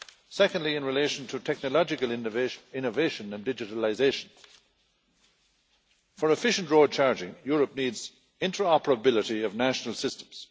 Secondly, in relation to technological innovation and digitalisation for efficient road charging, Europe needs interoperability of national systems.